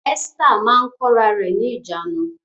Esther máa ń kóra rẹ̀ ní ìjánu